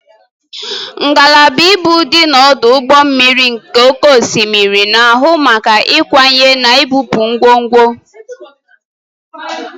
Ngalaba ibu dị n'ọdụ ụgbọ mmiri nke oké osimiri na-ahụ maka ịkwanye na ibupu ngwongwo.